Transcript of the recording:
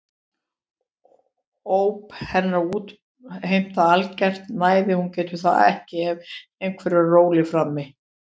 Óp hennar útheimta algert næði, hún getur það ekki ef einhver er á róli frammi.